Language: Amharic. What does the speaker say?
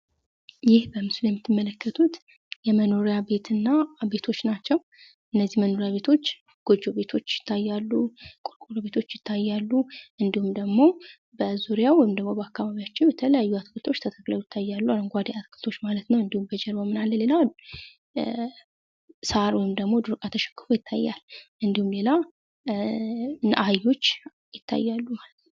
ይህ በምስሉ የምትመለከቱት የመኖሪያ ቤትና ቤቶች ናቸው። እነዚህ መኖሪያ ቤቶች ጎጆ ቤቶች ይታያሉ። ቆርቆሮ ቤቶች ይታያሉ እንዲሁም ደግሞ በዙሪያው ወይም ደግሞ በአከባቢያቸው በተለያዩ አትክልቶች ተተክልው ይታያሉ አረንጓደ አትክልቶች ማለት ነው ሳር ወይም ድሮ እቃ ተሸክፎ ይታያል። ሌላው አህዮች ይታያሉ።